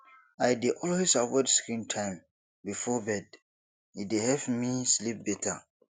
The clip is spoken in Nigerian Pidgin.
i dey always avoid screen time before bed e dey help me sleep better